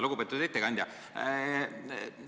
Lugupeetud ettekandja!